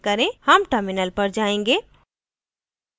हम terminal पर जाएँगे